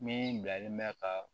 Min bilalen bɛ ka